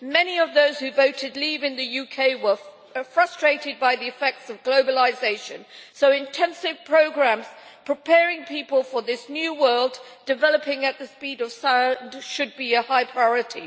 Many of those who voted Leave' in the UK were frustrated by the effects of globalisation, so intensive programmes preparing people for this new world, which is developing at the speed of sound, should be a high priority.